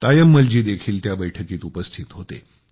तायम्मलजी देखील त्या बैठकीत उपस्थित होते